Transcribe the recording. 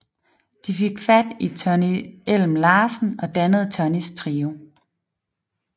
De fik fat i Tonny Elm Larsen og dannede Tonnys Trio